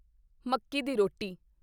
ਮੱਕੀ ਦੀ ਰੋਟੀ